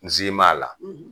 N zi m'a la